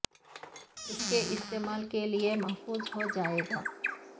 اس کے استعمال کے لئے محفوظ ہو جائے گا